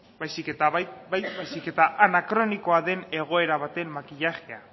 baizik eta anakronikoa den egoera baten makillajea